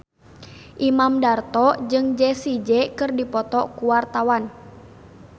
Imam Darto jeung Jessie J keur dipoto ku wartawan